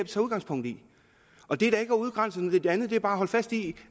tager udgangspunkt i og det er da ikke at udgrænse noget andet det er bare at holde fast i